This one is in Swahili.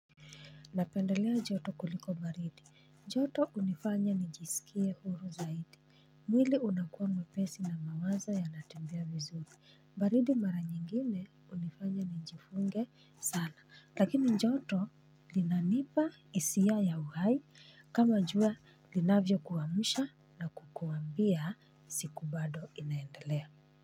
Napendelea joto kuliko baridi. Joto hunifanya njisikie huru zaidi. Mwili unakua mwepesi na mawazo yanatembea vizuri. Baridi mara nyingine hunifanya njifunge sana. Lakini joto linanipa hisia ya uhai kama jua linavyo kuamusha na kukuambia siku bado inaendelea.